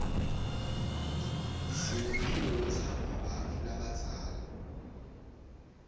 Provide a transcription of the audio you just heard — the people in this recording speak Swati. sinemculo lotsndvwa bantfu labadzala